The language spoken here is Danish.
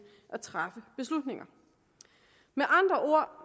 at træffe beslutninger med andre ord